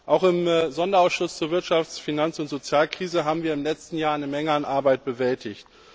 Auch im Sonderausschuss zur Wirtschafts Finanz und Sozialkrise haben wir im letzten Jahr eine Menge an Arbeit bewältigt.